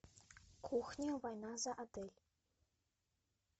кухня война за отель